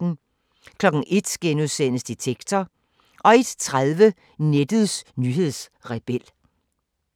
01:00: Detektor * 01:30: Nettets nyhedsrebel